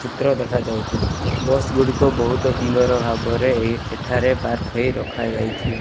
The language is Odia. ଚିତ୍ର ଦେଖାଯାଉଛି ବସ୍ ଗୁଡ଼ିକ ବହୁତ ସୁନ୍ଦର ଭାବରେ ଏଇ ଏଠାରେ ପାର୍କ ହେଇ ରଖାଯାଇଛି।